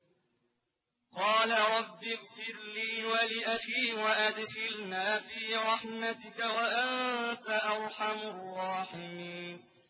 قَالَ رَبِّ اغْفِرْ لِي وَلِأَخِي وَأَدْخِلْنَا فِي رَحْمَتِكَ ۖ وَأَنتَ أَرْحَمُ الرَّاحِمِينَ